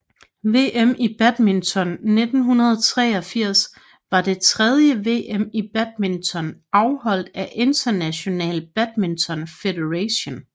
VM i badminton 1983 var det tredje VM i badminton afholdt af International Badminton Federation